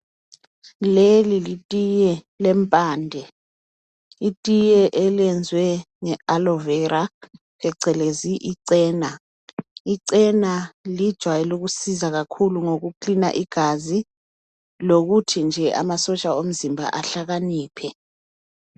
Leli litiye lempande. Itiye elenziwe ngeAloe vera, phecelezi icena. Icela lijwayele ukusiza kakhulu ngokuklina igazi. Lokuthi nje amasotsha omzimba, ahlakaniphe.